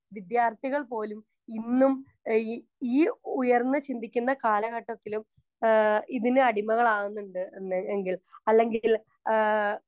speaker 1 വിദ്യാർത്ഥികൾ പോലും ഇന്നും ഏഹ് ഈ ഈ ഉയർന്നു ചിന്തിക്കുന്ന കാലഘട്ടത്തിലും ആഹ് ഇതിന് അടിമകളാകുന്നുണ്ട് എന്ന് എങ്കിൽ അല്ലെങ്കില് ആഹ്